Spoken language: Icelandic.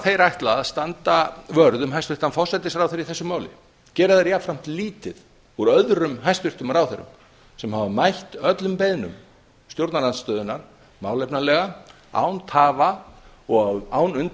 þeir ætla að standa vörð um hæstvirtan forsætisráðherra í þessu máli gera þeir jafnframt lítið úr öðrum hæstvirtum ráðherrum sem hafa mætt öllum beiðnum stjórnarandstöðunnar málefnalega án tafa og án